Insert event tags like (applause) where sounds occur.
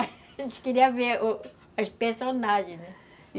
(laughs) A gente queria ver (unintelligible) as personagens (unintelligible)